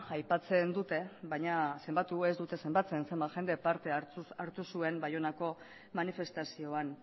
aipatzen dute baina zenbatu ez dute zenbatzen zenbat jendek parte hartu zuen baionako manifestazioan